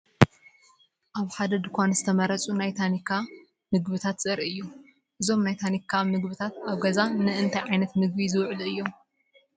ኣብ ሓደ ድኳን ዝተመርጹ ናይ ታኒካ ምግብታትን ዘርኢ እዩ። እዞም ናይ ታኒካ ምግብታት ኣብ ገዛ ንእንታይ ዓይነት ምግቢ ዝውዕሉ እዮም?